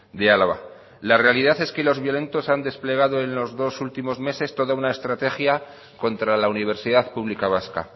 de álava la realidad es que los violentos han desplegado en los dos últimos meses toda una estrategia contra la universidad pública vasca